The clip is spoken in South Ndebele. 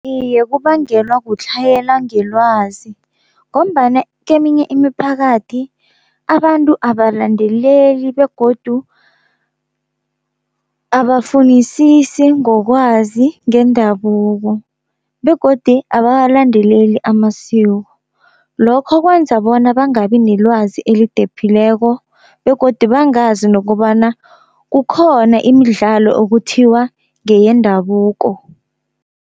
Iye kubangelwa kutlhayela ngelwazi, ngombana keminye imiphakathi abantu abalandeleli begodu abafunisisi ngokwazi ngendabuko, begodi abawalandeleli amasiko. Lokho kwenza bona bangabi nelwazi elidephileko begodu bangazi nokobana kukhona imidlalo okuthiwa ngeyendabuko.